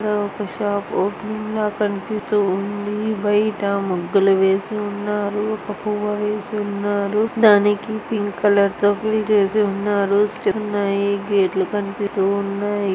ఈడ ఒక shop opening లాగా కనిపిస్తూ ఉంది. బయట ముగ్గులు వేసి ఉన్నారు. ఒక పువ్వ వేసి ఉన్నారు. దానికి పింక్ కలర్ తో బ్లీడ్ ఏసి ఉన్నారు. స్టెప్స్ ఉన్నాయి. గేట్ లు-- కనిపిస